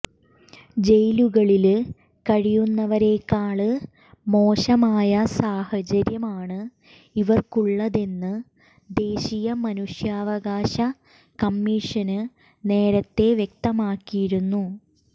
ജയിലുകളില് കഴിയുന്നവരെക്കാള് മോശമായ സാഹചര്യമാണ് ഇവര്ക്കുള്ളതെന്ന് ദേശീയ മനുഷ്യാവകാശ കമ്മീഷന് നേരത്തെ വ്യക്തമാക്കിയിരുന്നു